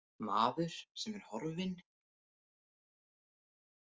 Maður sem er horfinn?